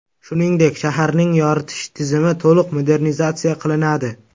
Shuningdek, shaharning yoritish tizimi to‘liq modernizatsiya qilinadi.